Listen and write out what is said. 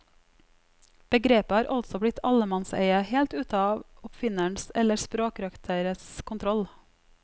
Begrepet har altså blitt allemannseie, helt ute av oppfinnerens eller språkrøkteres kontroll.